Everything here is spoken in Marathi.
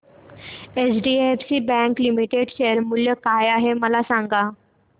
एचडीएफसी बँक लिमिटेड शेअर मूल्य काय आहे मला सांगा